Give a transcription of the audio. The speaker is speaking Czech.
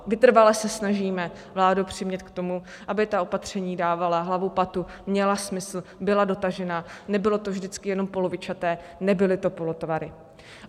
Vytrvale se snažíme vládu přimět k tomu, aby ta opatření dávala hlavu, patu, měla smysl, byla dotažena, nebylo to vždycky jenom polovičaté, nebyly to polotovary.